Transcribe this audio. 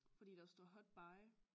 Fordi der står hot buy